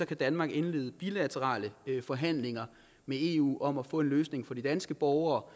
kan danmark indlede bilaterale forhandlinger med eu om at få en løsning for de danske borgere